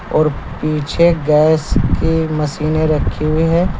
और पीछे गैस की मशीनें रखी हुई हैं।